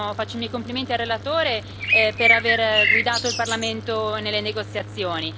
e faccio i miei complimenti al relatore per aver guidato il Parlamento nelle negoziazioni.